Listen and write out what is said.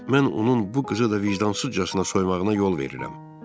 Mən onun bu qızı da vicdansızcasına soymağına yol verirəm.